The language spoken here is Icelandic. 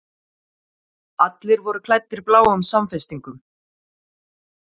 Allir voru klæddir bláum samfestingum.